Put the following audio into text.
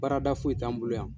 Baarada foyi t'an bolo yan.